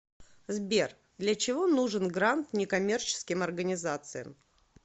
сбер для чего нужен грант неккоммерческим организациям